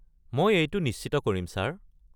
মই এইটো নিশ্চিত কৰিম, ছাৰ।